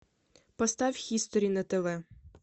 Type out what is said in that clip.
поставь хистори на тв